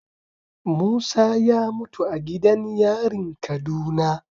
Musa ya mutu a gidan yarin kaduna